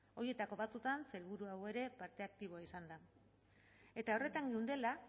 horietako batzuetan sailburu hau ere parte aktiboa izan da eta horretan geundela